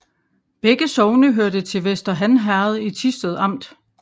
Begge sogne hørte til Vester Han Herred i Thisted Amt